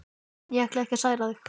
Ég ætlaði ekki að særa þig.